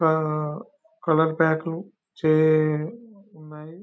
అహ్హ్ colour pack చే ఉన్నాయి --